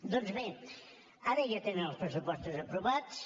doncs bé ara ja tenen els pressupostos aprovats